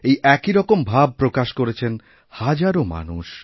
এই একই রকম ভাব প্রকাশ করেছেন হাজারও মানুষ